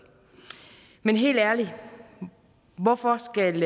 men helt ærligt hvorfor skal